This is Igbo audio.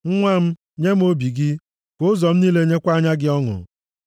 Nwa m, nye m obi gị ka ụzọ m niile nyekwa anya gị ọṅụ.